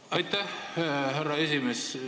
Aitäh, härra esimees!